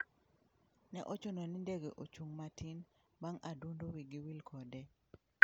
Ne ochuno ni ndege ochung' matin bang' adundo wigi wil kode